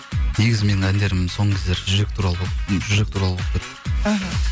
негізі менің әндерім соңғы кездері жүрек туралы болып кетті іхі